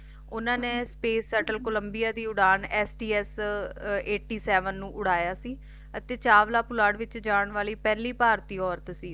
ਓਹਨਾ ਨੇ space settle columbia ਦੀ ਉਡਾਣ sts Eighty Seven ਨੂੰ ਉਡਾਇਆ ਸੀ ਅਤੇ ਚਾਵਲਾ ਪੁਲਾੜ ਵਿੱਚ ਜਾਣ ਵਾਲੀ ਪਹਿਲੀ ਭਾਰਤੀ ਔਰਤ ਸੀ